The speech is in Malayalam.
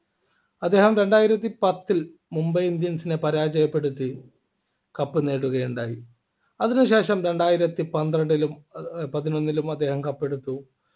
അദ്ദേഹം രണ്ടായിരത്തി പത്തിൽ മുംബൈ indians നെ പരാജയപ്പെടുത്തി cup നേടുകയുണ്ടായി അതിനുശേഷം രണ്ടായിരത്തി പന്ത്രണ്ടിൽ ഏർ പതിനൊന്നിലും അദ്ദേഹം cup എടുത്തു